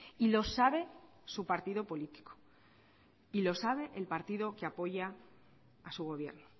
y lo sabe su partido político y lo sabe el partido que apoya a su gobierno